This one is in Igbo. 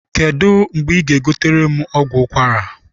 Kedụ mgbe I ga-egotere m ọgwụ ụkwara?